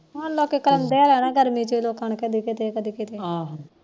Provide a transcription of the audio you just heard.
ਹੁਣ ਲੋਕ ਕਰਾਉਂਦੇ ਗਰਮੀ ਚ ਕਦੇ ਕਿਤੇ ਕਦੇ ਕਿਤੇ ਆਹੋ